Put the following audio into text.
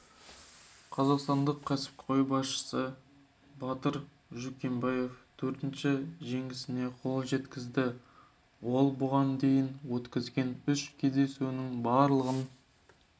қазақстандық кәсіпқой боксшы батыр жүкембаев төртінші жеңісіне қол жеткізді ол бұған дейін өткізген үш кездесуінің барлығын